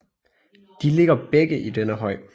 De ligger begge i denne høj